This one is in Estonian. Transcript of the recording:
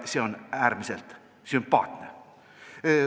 See on äärmiselt sümpaatne.